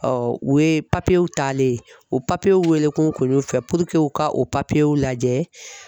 Ɔ u ye papiyew taalen, o papiyew wele ko n kun y'o fɛ puruke u ka o papiyew lajɛ.